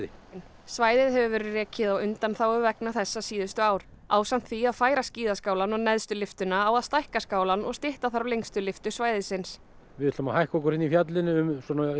svæðið hefur verið rekið á undanþágu vegna þessa síðustu ár ásamt því að færa skíðaskálann og neðstu lyftuna á að stækka skálann og stytta þarf lengstu lyftu svæðisins við ætlum að hækka okkur hérna í fjallinu um svona